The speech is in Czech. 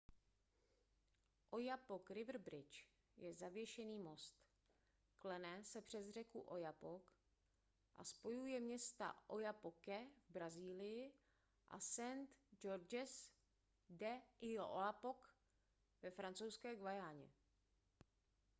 oyapock river bridge je zavěšený most klene se přes řeku oyapock a spojuje města oiapoque v brazílii a saint-georges de l'oyapock ve francouzské guyaně